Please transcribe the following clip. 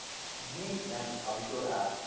VN அப்படீன்ற ஒரு app